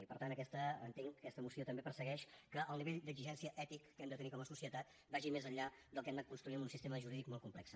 i per tant entenc que aquesta moció també persegueix que el nivell d’exigència ètic que hem de tenir com a societat vagi més enllà del que hem anat construint en un sistema jurídic molt complex